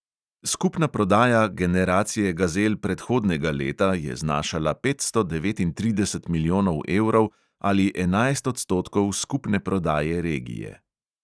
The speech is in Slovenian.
Skupna prodaja generacije gazel predhodnega leta je znašala petsto devetintrideset milijonov evrov ali enajst odstotkov skupne prodaje regije.